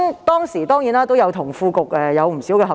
當時，我當然與副局長有不少合作。